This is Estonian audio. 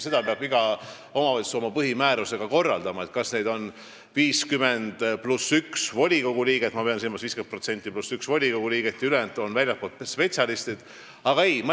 Iga omavalitsus peab juba oma põhimäärusega korraldama, kas on 50% + üks volikogu liige ja ülejäänud väljastpoolt spetsialistid või kuidagi teisiti.